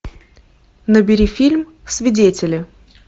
набери фильм свидетели